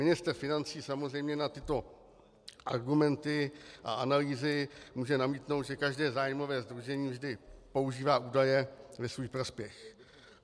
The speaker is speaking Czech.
Ministr financí samozřejmě na tyto argumenty a analýzy může namítnout, že každé zájmové sdružení vždy používá údaje ve svůj prospěch.